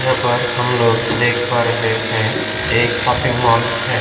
यहाँ पर हमलोग देख पा रहे है एक शॉपिंग मॉल है।